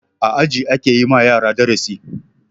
A aji ake yi ma yara darasi.